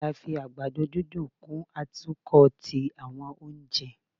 a fi àgbàdo dídùn kun atokọ ti awọn ounjẹ.